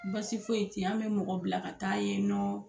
Basi foyi ten yen, an bɛ mɔgɔ bila ka taa yen nɔ,